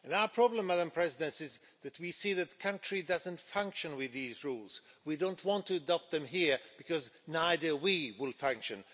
Our problem, Madam President, is that we see that the country doesn't function with these rules. We don't want to adopt them here, because neither we will function.